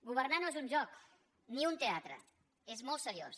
governar no és un joc ni un teatre és molt seriós